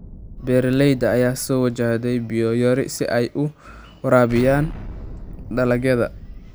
Beeraleyda ayaa soo wajahday biyo yari si ay u waraabiyaan dalagyada.